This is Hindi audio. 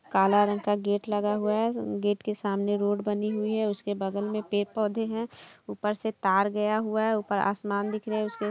काला रंग का गेट लगा हुआ है गेट के सामने रोड बनी हुई है उसके बगल में पेड़-पौधे है ऊपर से तार गया हुआ है ऊपर आसमान दिख रहे--